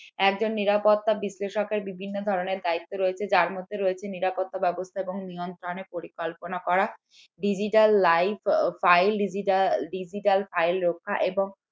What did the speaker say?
একজন নিরাপত্তা বিশ্লেষকের বিভিন্ন ধরনের দায়িত্ব রয়েছে যার মধ্যে রয়েছে নিরাপত্তা ব্যবস্থা এবং নিয়ন্ত্রণে পরিকল্পনা করা digital live file digital digital file রক্ষা এবং